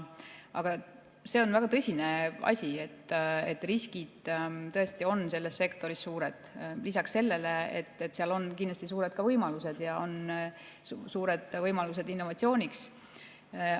Aga see on väga tõsine asi, riskid on selles sektoris tõesti suured, lisaks sellele, et seal on kindlasti ka suured võimalused ja on suured võimalused innovatsiooniks.